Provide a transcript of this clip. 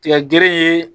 Tigɛ gere ye